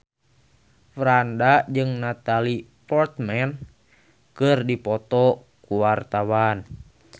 Franda jeung Natalie Portman keur dipoto ku wartawan